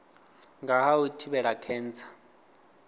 nga ha u thivhela khentsa